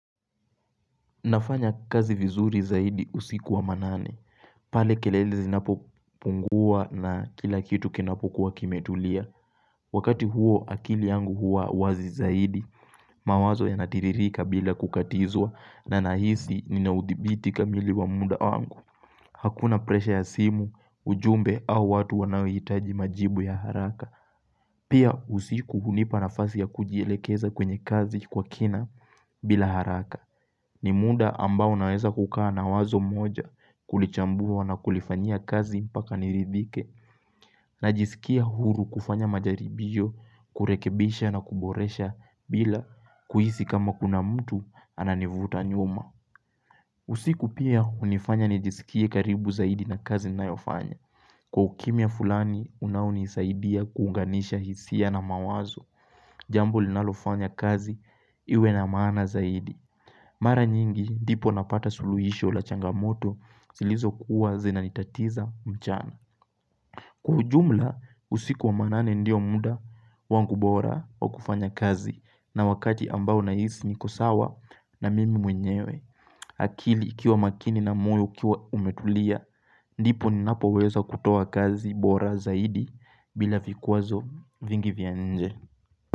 Nafanya kazi vizuri zaidi usiku wa manane. Pale kelele zinapopungua na kila kitu kinapokuwa kimetulia. Wakati huo akili yangu hua wazi zaidi. Mawazo yanatiririka bila kukatizwa na nahisi ninaudhibiti kamili wa muda wangu. Hakuna presha ya simu, ujumbe au watu wanaohitaji majibu ya haraka. Pia usiku hunipa nafasi ya kujielekeza kwenye kazi kwa kina bila haraka. Ni muda ambao naweza kukaa na wazo moja kulichambua na kulifanyia kazi mpaka niridhike Najisikia huru kufanya majaribio kurekebisha na kuboresha bila kuhisi kama kuna mtu ananivuta nyuma usiku pia hunifanya nijisikie karibu zaidi na kazi ninayofanya Kwa ukimya fulani unaonisaidia kuunganisha hisia na mawazo Jambo linalofanya kazi iwe na maana zaidi Mara nyingi ndipo napata suluhisho la changamoto zilizo kuwa zinanitatiza mchana. Kwa ujumla usiku wa manane ndio muda wangu bora wa kufanya kazi na wakati ambao nahisi niko sawa na mimi mwenyewe. Akili ikiwa makini na moyo ikiwa umetulia, ndipo ninapoweza kutoa kazi bora zaidi bila vikwazo vingi vya nje.